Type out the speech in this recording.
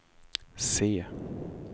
C